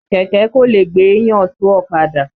Kẹ̀kẹ́ kò lè gbéyàn tó ọ̀kadà.